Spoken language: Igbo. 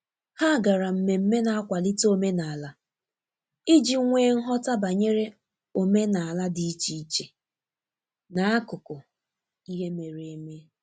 ha gara mmeme na akwalite omenala ije nwee nghota banyere omenala di iche iche na akụkụ ihe mere eme.